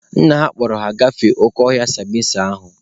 Nna ha kpọrọ ha gafee oke ọhịa sambisa ahụ.